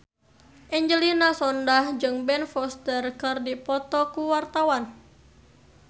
Angelina Sondakh jeung Ben Foster keur dipoto ku wartawan